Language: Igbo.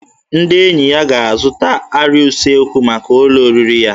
Ndị enyi ya ga-azụta arịa usekwu maka ụlọ oriri ya